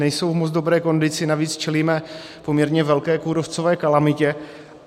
Nejsou v moc dobré kondici, navíc čelíme poměrně velké kůrovcové kalamitě.